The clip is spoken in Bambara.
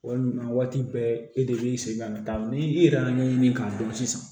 Walima waati bɛɛ e de bɛ segin ka na ni i yɛrɛ y'a ɲɛɲini k'a dɔn sisan